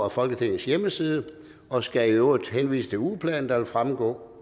af folketingets hjemmeside og skal i øvrigt henvise til ugeplanen der vil fremgå